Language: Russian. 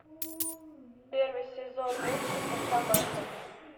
первый сезон мультика команда